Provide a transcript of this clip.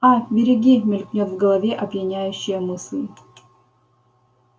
а береги мелькнёт в голове опьяняющая мысль